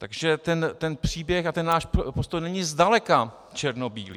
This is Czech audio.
Takže ten příběh a ten náš postoj není zdaleka černobílý.